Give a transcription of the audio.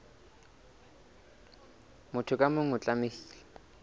motho ka mong o tlamehile